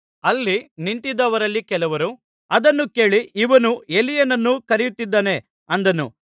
ಅಲ್ಲಿ ನಿಂತಿದ್ದವರಲ್ಲಿ ಕೆಲವರು ಅದನ್ನು ಕೇಳಿ ಇವನು ಎಲೀಯನನ್ನು ಕರೆಯುತ್ತಿದ್ದಾನೆ ಅಂದನು